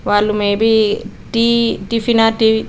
వాళ్ళు maybe tea tiffin or tea --.